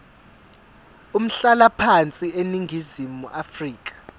umhlalaphansi eningizimu afrika